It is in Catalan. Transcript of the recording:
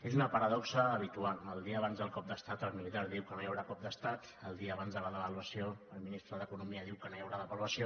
és una paradoxa habitual el dia abans del cop d’estat el militar diu que no hi haurà cop d’estat el dia abans de la devaluació el ministre d’economia diu que no hi haurà devaluació